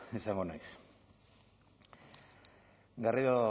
izango naiz